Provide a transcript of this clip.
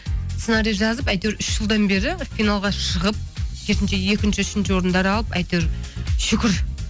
сценарий жазып әйтеуір үш жылдан бері финалға шығып керісінше екінші үшінші орындар алып әйтеуір шүкір